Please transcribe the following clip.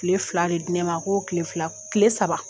kile fila de di ne ma ko kile saba